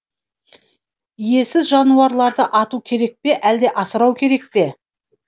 иесіз жануарларды ату керек пе әлде асырау керек пе